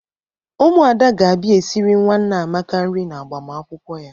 Ụmụada ga-abịa esiri nwa Nneamaka nri n'agbamakwụkwọ ya.